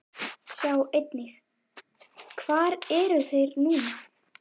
Sjá einnig: Hvar eru þeir núna?